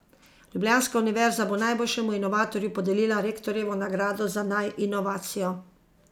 Ljubljanska univerza bo najboljšemu inovatorju podelila Rektorjevo nagrado za naj inovacijo.